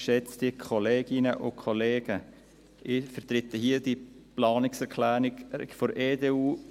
Ich vertrete hier die Planungserklärung 2.a der EDU.